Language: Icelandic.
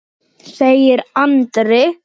segir Andri.